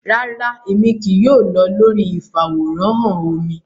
Rara, Emi kii yoo lọ lori ifaworanhan omí